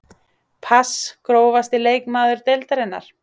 pass Grófasti leikmaður deildarinnar?